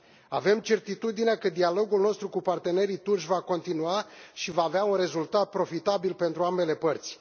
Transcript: Avem certitudinea că dialogul nostru cu partenerii turci va continua și va avea un rezultat profitabil pentru ambele părți.